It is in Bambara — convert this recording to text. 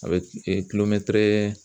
A bɛ kulomɛtɛrɛ